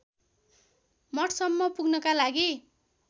मठसम्म पुग्नका लागि